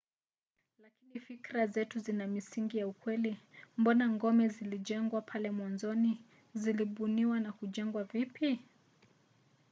lakini fikira zetu zina misingi ya ukweli? mbona ngome zilijengwa pale mwanzoni? zilibuniwa na kujengwa vipi?